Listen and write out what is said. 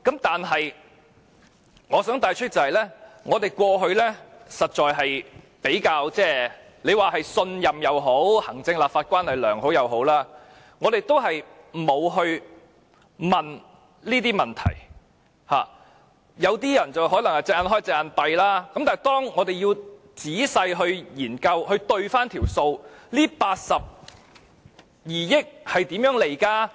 但是，我想帶出的是，過去我們比較信任政府，行政立法關係較良好，因此沒有仔細過問，有些人可能"隻眼開，隻眼閉"，但是，當我們仔細研究及核對數目，這82億元是如何計算出來呢？